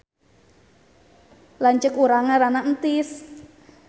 Lanceuk urang ngaranna Entis